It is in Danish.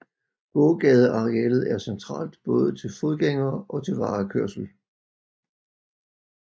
Gågadearealet er centralt både til fodgængere og til varekørsel